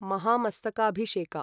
Mahamastakabhisheka